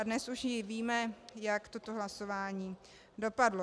A dnes už i víme, jak toto hlasování dopadlo.